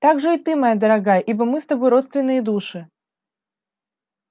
также и ты моя дорогая ибо мы с тобой родственные души